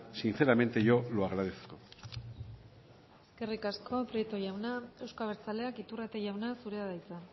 sinceramente yo lo agradezco eskerrik asko prieto jauna euzko abertzaleak iturrate jauna zurea da hitza